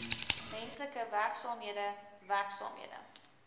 menslike werksaamhede werksaamhede